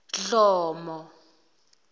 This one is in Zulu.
dhlomo